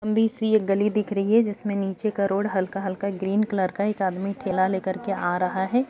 लंबी सी एक गली दिख रही है जिसमें नीचे का रोड हल्का-हल्का ग्रीन कलर का एक आदमी ठेला लेकर के आ रहा है।